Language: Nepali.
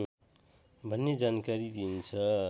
भन्ने जानकारी दिन्छ